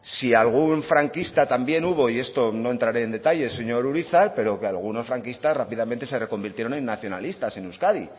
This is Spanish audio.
si algún franquista también hubo y esto no entraré en detalles señor urizar pero que algunos franquistas rápidamente se reconvirtieron en nacionalistas en euskadi